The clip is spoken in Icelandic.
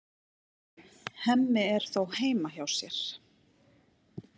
Hemmi er þó heima hjá sér.